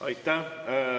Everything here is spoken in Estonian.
Aitäh!